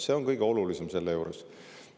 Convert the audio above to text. See on kõige olulisem selle juures.